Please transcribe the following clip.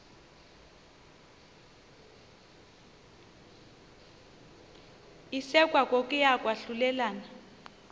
isekwa kokuya kwahlulelana